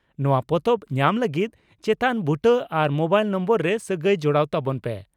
ᱱᱚᱣᱟ ᱯᱚᱛᱚᱵ ᱧᱟᱢ ᱞᱟᱹᱜᱤᱫ ᱪᱮᱛᱟᱱ ᱵᱩᱴᱟᱹ ᱟᱨ ᱢᱚᱵᱟᱭᱤᱞ ᱱᱚᱢᱵᱚᱨ ᱨᱮ ᱥᱟᱹᱜᱟᱹᱭ ᱡᱚᱲᱟᱣ ᱛᱟᱵᱚᱱ ᱯᱮ ᱾